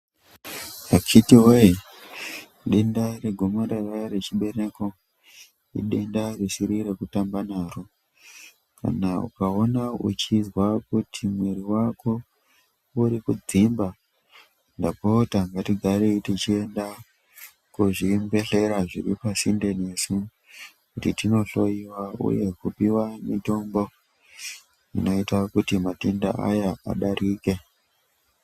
Akhithi woyee denda regomarara rechibereko idenda risiri rekutamba naro. Kana ukaona uchizwa kuti mwiri wako uri kudzimba, ndapota ngatigarei techienda kuzvibhendlera zviri pasinde nesu. Kuti tinohloiwa uye kupiwa mitombo inoita kuti matenda ayaa adarike.